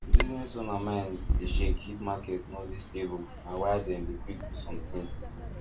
business owners mind dey shake if market no dey stable na why dem dey quick do somethings